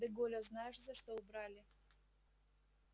де голля знаешь за что убрали